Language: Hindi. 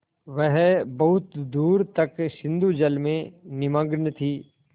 वह बहुत दूर तक सिंधुजल में निमग्न थी